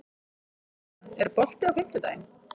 Lýdía, er bolti á fimmtudaginn?